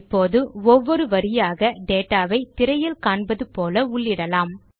இப்போது ஒவ்வொரு வரியாக டேட்டா வை திரையில் காண்பது போல உள்ளிடலாம்